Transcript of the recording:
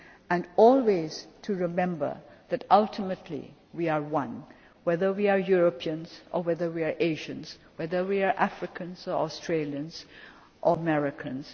thing and always to remember that, ultimately, we are one, whether we are Europeans or Asians, or whether we are Africans, Australians or Americans.